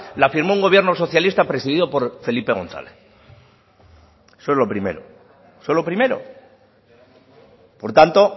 la firmó un gobierno socialista presidido por felipe gonzález eso lo primero eso lo primero por tanto